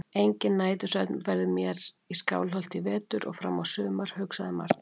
Enginn nætursvefn verður mér vær í Skálholti í vetur og fram á sumar, hugsaði Marteinn.